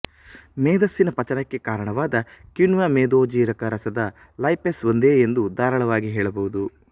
ಮೇದಸ್ಸಿನ ಪಚನಕ್ಕೆ ಕಾರಣವಾದ ಕಿಣ್ವ ಮೇದೋಜೀರಕ ರಸದ ಲೈಪೇಸ್ ಒಂದೇ ಎಂದು ಧಾರಾಳವಾಗಿ ಹೇಳಬಹುದು